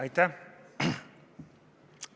Aitäh!